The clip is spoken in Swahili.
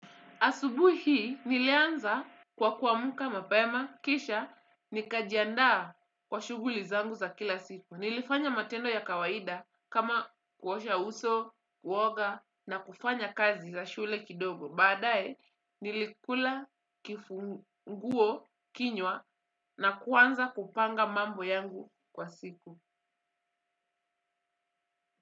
Asubui hii, nilianza kwa kuamuka mapema, kisha, nika jiandaa kwa shuguli zangu za kila siku. Nilifanya matendo ya kawaida kama kuosha uso, kuoga na kufanya kazi za shule kidogo. Baadae, nilikula kifunguo kinywa na kuanza kupanga mambo yangu kwa siku.